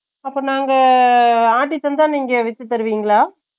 அப்ப நாங்க ஆட்டி தந்தா நீங்க வித்து குடுப்பிங்களா ?